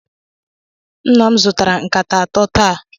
Nna m zụtara nkata atọ taa.